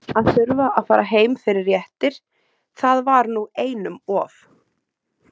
Að þurfa að fara heim fyrir réttir- það var nú einum of.